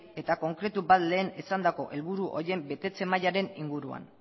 eta konkretu bat lehenesandako helburu horien betetze mailaren inguruan